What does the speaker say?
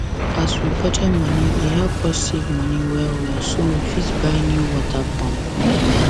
as we budget money e help us save money well well so we fit buy new water pump